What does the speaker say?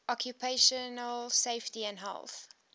occupational safety and health